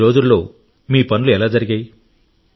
ఈ రోజుల్లో మీ పనులు ఎలా జరిగాయి